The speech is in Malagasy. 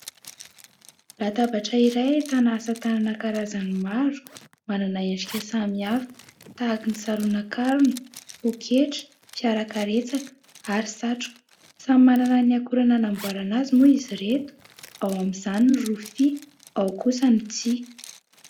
Latabatra iray ahitana asa tanana karazany maro, manana endrika samihafa tahaka ny saronankarona, poketra, fiara karetsaka ary satroka. Samy manana ny akora nanamboarana azy moa izy ireto, ao amin'izany ny rofia, ao kosa ny tsihy.